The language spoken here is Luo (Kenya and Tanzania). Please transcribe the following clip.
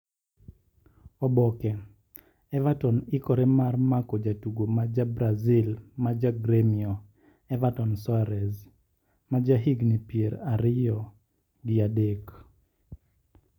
(Oboke) Everton ikore mar mako jatugo ma ja Brazil ma ja Gremio, Everton Soares, ma jahigini pier ariyob gi adek.